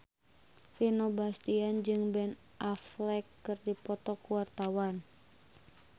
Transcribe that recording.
Vino Bastian jeung Ben Affleck keur dipoto ku wartawan